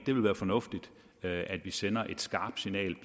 ville være fornuftigt at at sende et skarpt signal